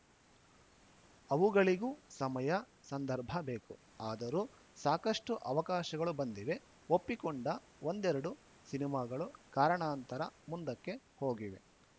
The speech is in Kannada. ಅವುಗಳಿಗೂ ಸಮಯ ಸಂದರ್ಭ ಬೇಕು ಆದರೂ ಸಾಕಷ್ಟುಅವಕಾಶಗಳು ಬಂದಿವೆ ಒಪ್ಪಿಕೊಂಡ ಒಂದೆರೆಡು ಸಿನಿಮಾಗಳು ಕಾರಣಾಂತರ ಮುಂದಕ್ಕೆ ಹೋಗಿವೆ